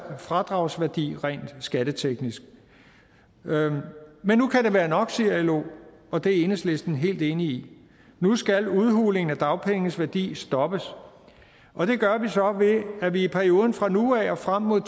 fradragsværdi rent skatteteknisk men nu kan det være nok siger lo og det er enhedslisten helt enig i nu skal udhulingen af dagpengenes værdi stoppes og det gør vi så ved at vi i perioden fra nu af og frem mod